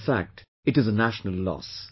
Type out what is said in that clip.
In fact, it is a national loss